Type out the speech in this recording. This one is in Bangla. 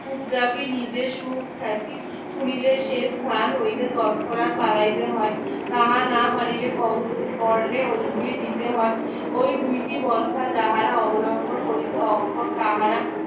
নিজের সুখ্যাতি সুনীলের সেই স্থান হইলে তৎক্ষনাক বাড়াইতে হয় তাহা না পারিলে ক~কর্ণে অঙ্গুলি দিতে হয় ওই দুইটি পন্থা যাহারা অবলম্বন করিতে অক্ষম তাহারা